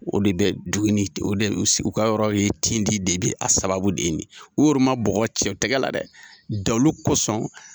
O de bɛ doni o debɛ o ka yɔrɔ ye tintindi de bɛ a sababu de ye nin, o yɛrɛ ma bɔgɔ cɛ o tɛgɛ la dɛ dalu kosɔn.